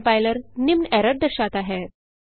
कंप्लायर निम्न एरर दर्शाता है